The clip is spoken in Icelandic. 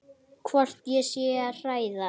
Hvort ég sé að hræða.